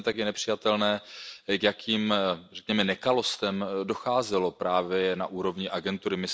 Ale stejně tak je nepřijatelné, k jakým nekalostem docházelo právě na úrovni agentury.